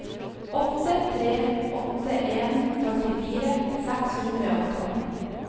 åtte tre åtte en førtifire seks hundre og tolv